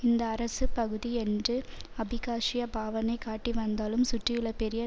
இந்த பகுதி அரசு என்று அபிகாசிய பாவணை காட்டிவந்தாலும் சுற்றியுள்ள பெரிய